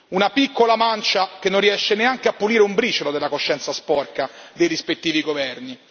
Una piccola mancia che non riesce neanche a pulire un briciolo della coscienza sporca dei rispettivi governi.